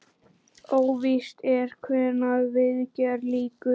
Óvíst er hvenær viðgerð lýkur.